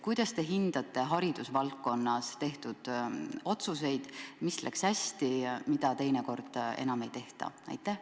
Kuidas te hindate haridusvaldkonnas tehtud otsuseid: mis läks hästi ja mida teinekord enam ei tehta?